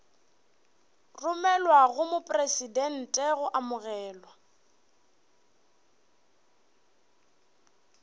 romelwa go mopresidente go amogelwa